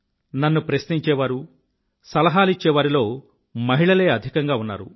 నన్ను ప్రశ్నించేవారు సలహాలిచ్చేవారిలో మహిళలే అధికంగా ఉన్నారు